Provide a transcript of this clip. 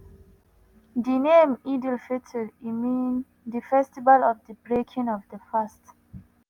di name "eid al-fitr" e mean "di festival of di breaking of di fast".